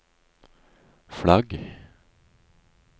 flagg